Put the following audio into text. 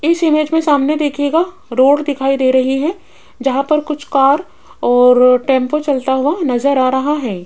इस इमेज मे सामने देखिएगा रोड दिखाई दे रही है जहां पर कुछ कार और टेंपो चलता हुआ नज़र आ रहा है।